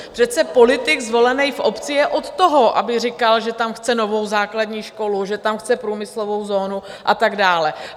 Přece politik zvolený v obci je od toho, aby říkal, že tam chce novou základní školu, že tam chce průmyslovou zónu a tak dále.